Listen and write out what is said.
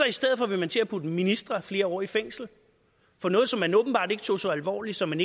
i stedet for vil til at putte ministre flere år i fængsel for noget som man åbenbart ikke tog så alvorligt så man